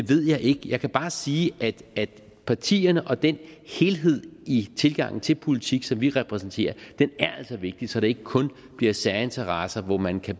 ved jeg ikke jeg kan bare sige at partierne og den helhed i tilgangen til politik som vi repræsenterer altså er vigtigt så det ikke kun bliver særinteresser hvor man kan